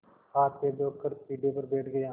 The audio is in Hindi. हाथपैर धोकर पीढ़े पर बैठ गया